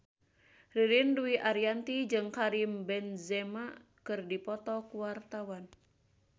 Ririn Dwi Ariyanti jeung Karim Benzema keur dipoto ku wartawan